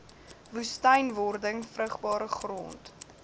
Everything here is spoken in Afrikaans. woestynwording vrugbare grond